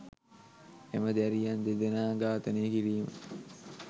එම දැරියන් දෙදෙනා ඝාතනය කිරීම